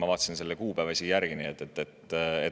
Ma vaatasin selle kuupäeva isegi järgi.